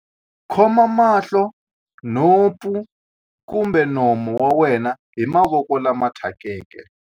Khoma mahlo, nhompfu kumbe nomo wa wena hi mavoko lama thyakeke.